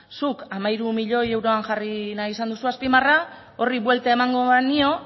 zuk hamairu milioi euroan jarri nahi izan duzu azpimarra horri buelta emango banio